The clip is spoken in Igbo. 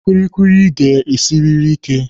Kulikuli ga-esiriri ike